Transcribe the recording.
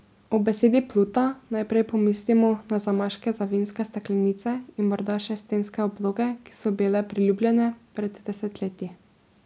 Ob besedi pluta najprej pomislimo na zamaške za vinske steklenice in morda še stenske obloge, ki so bile priljubljene pred desetletji.